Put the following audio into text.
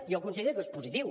jo considero que és positiu